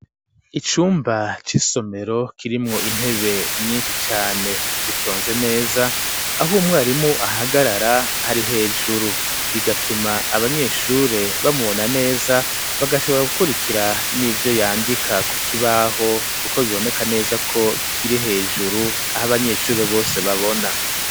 Icumba c'isomero kirimwo intebe nyinshi cane zitonze neza aho umwarimu ahagarara hari hejuru bigatuma abanyeshure bamubona neza bagashobora gukurikira n'ivyo yandika ku kibaho kuko biboneka neza ko kiri hejuru aho abanyeshure bose babona.